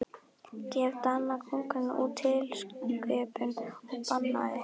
Gaf Danakonungur út tilskipun og bannaði